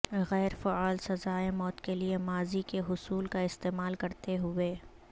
غیر فعال سزائے موت کے لئے ماضی کے حصول کا استعمال کرتے ہوئے